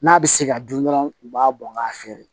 N'a bɛ se ka dun dɔrɔn u b'a bɔn k'a feere